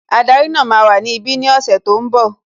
Ádárì náà máa wà ní ibi ní ọ̀sẹ̀ tí ó ń bọ̀